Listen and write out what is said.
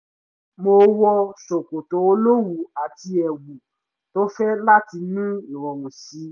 mo wọ ṣòkòtò olówùú àti ẹ̀wù tó fẹ̀ láti ní ìrọ̀rùn sí i